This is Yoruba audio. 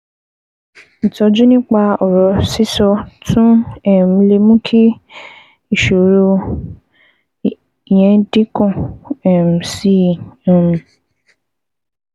Ìtọ́jú nípa ọ̀rọ̀ sísọ tún um lè mú kí ìṣòro yẹn dínkù um sí um i